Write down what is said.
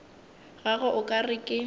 gagwe o ka re ke